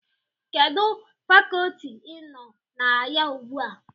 Kedụ Fakọọti ị nọ na ya ugbu a?